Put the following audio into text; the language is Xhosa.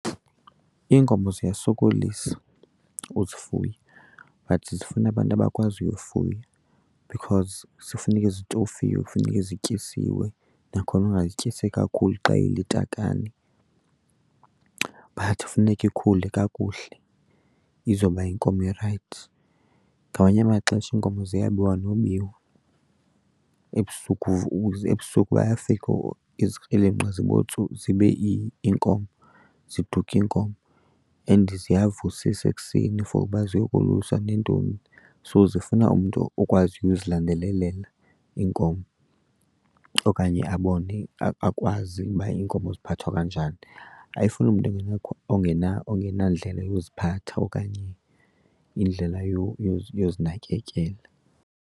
Iinkomo ziyasokolisa uzifuya but zifuna abantu abakwaziyo ufuya because zifuneke zitofiwe, funeke zityisiwe nakhona ungazityisi kakhulu xa ilitakane but funeka ikhule kakuhle izoba yinkomo erayithi. Ngamanye amaxesha iinkomo ziyabiwa nobiwa. Ebusuku , ebusuku bayafika izikrelemnqa zibe iinkomo, ziduke iinkomo. And ziyavusisa ekuseni for uba ziyokoluswa neentoni. So zifuna umntu okwaziyo uzilandelela iinkomo okanye abone, akwazi uba iinkomo ziphathwa kanjani. Ayifuni umntu ongenandlela yoziphatha okanye indlela yozinakekela.